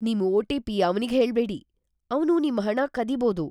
ನಿಮ್ ಒ.ಟಿ.ಪಿ. ಅವ್ನಿಗ್ಹೇಳ್ಬೇಡಿ. ಅವ್ನು ನಿಮ್ ಹಣನ ಕದಿಬೋದು.